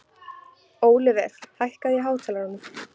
Ólíver, hækkaðu í hátalaranum.